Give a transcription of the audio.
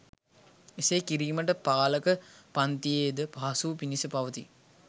එසේ කිරීම පාලක පන්තියේ ද පහසුව පිණිස පවතී.